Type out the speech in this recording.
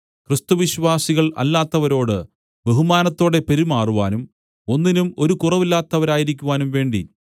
ക്രിസ്തുവിശ്വാസികൾ അല്ലാത്തവരോട് ബഹുമാനത്തോടെ പെരുമാറുവാനും ഒന്നിനും ഒരു കുറവില്ലാത്തവരായിരിക്കുവാനും വേണ്ടി